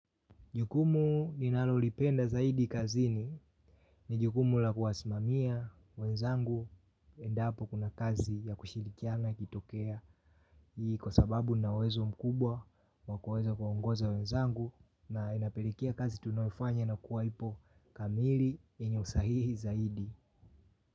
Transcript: Jukumu ninalolipenda zaidi kazini ni jukumu la kuwasimamia wenzangu endapo kuna kazi ya kushirikiana ikitokea hii kwa sababu nina uwezo mkubwa wa kuweza kuongoza wenzangu na inapelekea kazi tunayofanya na kuwa ipo kamili yenye usahihi zaidi.